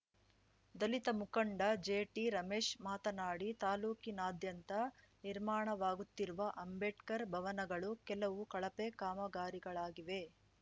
ದಲಿತ ಮುಖಂಡ ಜೆಟಿರಮೇಶ್‌ ಮಾತನಾಡಿ ತಾಲೂಕಿನಾದ್ಯಂತ ನಿರ್ಮಾಣವಾಗುತ್ತಿರುವ ಅಂಬೇಡ್ಕರ್‌ ಭವನಗಳು ಕೆಲವು ಕಳಪೆ ಕಾಮಗಾರಿಗಳಾಗಿದೆ